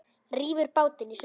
Rífur bátinn í sundur.